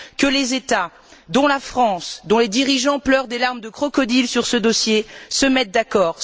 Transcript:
Que les États y compris la France, dont les dirigeants pleurent des larmes de crocodiles sur ce dossier se mettent d'accord.